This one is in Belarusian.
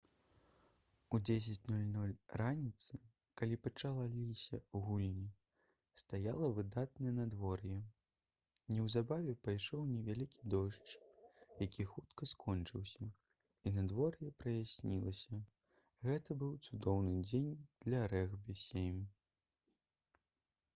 у 10:00 раніцы калі пачаліся гульні стаяла выдатнае надвор'е неўзабаве пайшоў невялікі дождж які хутка скончыўся і надвор'е праяснілася гэта быў цудоўны дзень для рэгбі-7